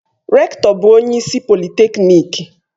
Rektọ bụ onye isi polịtekniki